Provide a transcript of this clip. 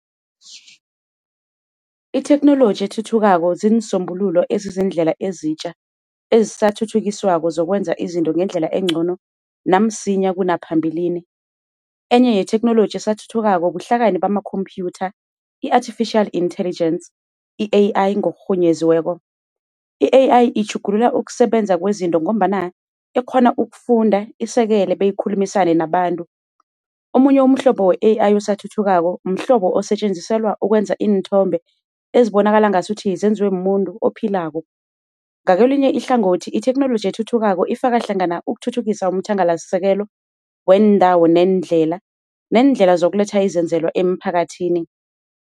Itheknoloji ethuthukako ziinsombululo ezizindlela ezitja ezisathuthukiswako zokwenza izinto ngendlela engcono namsinya kunaphambilini. Enye yetheknoloji esathuthukako buhlakani bamakhophyutha i-artificial intelligence i-AI. I-AI itjhugulula ukusebenza kwezinto ngombana ikghona ukufunda, isekele beyikhulumisane nabantu. Omunye umhlobo we-AI osathuthukako osetjenziselwa ukwenza iinthombe ezibonakala ngasuthi zenziwe mumuntu ophile. Ngokwelinye ihlangothi itheknoloji ethuthukako ifaka hlangana ukuthuthukisa umthangalasisekelo weendlela, nendlela yokuletha izenzelwa emphakathini